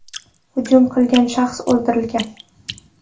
Hujum qilgan shaxs o‘ldirilgan.